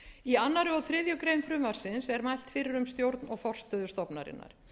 í öðru og þriðju greinar frumvarpsins er mælt fyrir um stjórn og forstöðu stofnunarinnar